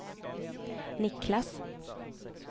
Niclas